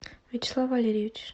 вячеслав валерьевич